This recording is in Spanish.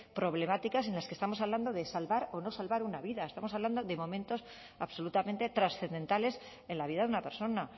problemáticas en los que estamos hablando de salvar o no salvar una vida estamos hablando de momentos absolutamente trascendentales en la vida de una persona